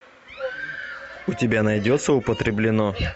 у тебя найдется употреблено